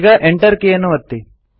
ಈಗ ಎಂಟರ್ ಕೀಯನ್ನು ಒತ್ತಿ